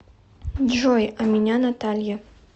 джой а меня наталья